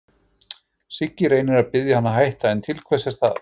Siggi reynir að biðja hann að hætta, en til hvers er það?